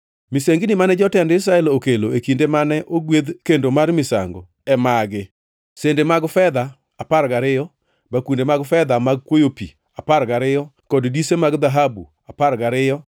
Misengini mane jotend jo-Israel okelo e kinde mane ogwedh kendo mar misango e magi: sende mag fedha apar gariyo, bakunde mag fedha mag kwoyo pi apar gariyo kod dise mag dhahabu apar gariyo.